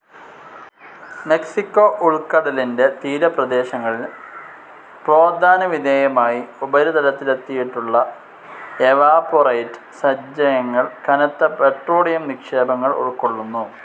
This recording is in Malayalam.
മെക്സിക്കോ ഉൾക്കടലിന്റെ തീരപ്രദേശങ്ങളിൽ പ്രോത്ഥാനവിധേയമായി ഉപരിതലത്തിലെത്തിയിട്ടുള്ള എവാപൊറൈറ്റ് സഞ്ചയങ്ങൾ കനത്ത പെട്രോളിയം നിക്ഷേപങ്ങൾ ഉൾക്കൊള്ളുന്നു.